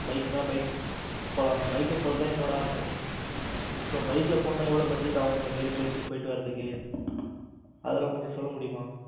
bike னா bike போலாம் bike ல போறது தான் என்னோட ஆசை. so bike ல போனும்னா எவ்வளவு budget ஆகும். இந்த மாதிரி place க்கு போயிட்டு வரதுக்கு. அதெல்லாம் கொஞ்சம் சொல்ல முடியுமா?